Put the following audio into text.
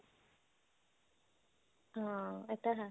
ਹਾਂ ਇਹ ਤਾਂ ਹੈ